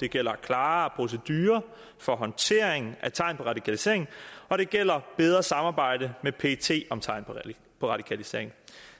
det gælder klarere procedurer for håndtering af tegn på radikalisering og det gælder bedre samarbejde med pet om tegn på radikalisering